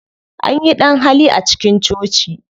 Anyi ɗan-hali a cikin coci.